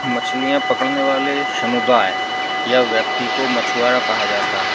मछलियाँ पकड़ने वाले समुदाय या व्यक्ति को मछुआरा कहा जाता है।